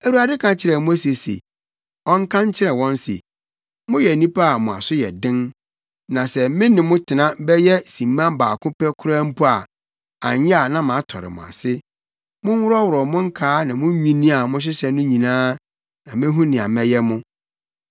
Awurade ka kyerɛɛ Mose se ɔnka nkyerɛ wɔn se, “Moyɛ nnipa a mo aso yɛ den. Na sɛ me ne mo tena bɛyɛ simma baako pɛ koraa mpo a, anyɛ a na matɔre mo ase. Monworɔworɔw mo nkaa ne mo nnwinne a mohyehyɛ no nyinaa na mehu nea mɛyɛ mo.”